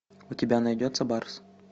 у тебя найдется барс